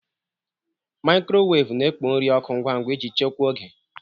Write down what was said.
Mikrowevu na-ekpo nri ọkụ ngwa ngwa iji chekwaa oge.